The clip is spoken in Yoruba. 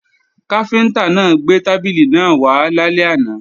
Káfíntá náà gbé tábìlì náà wá lálẹ́ àná